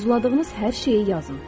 Arzuladığınız hər şeyi yazın.